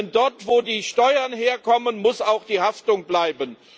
Denn dort, wo die Steuern herkommen, muss auch die Haftung bleiben.